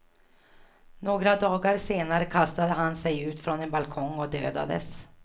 Några dagar senare kastade han sig ut från en balkong och dödades.